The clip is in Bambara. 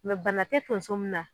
bana tɛ tonso min na.